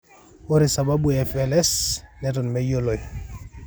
ore sababu e FLS neton meyioloi.